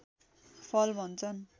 फल भन्छन्